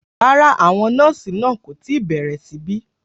Rárá, àwọn nọ́ọ̀sì náà kò tí ì bẹ̀rẹ̀ síbẹ̀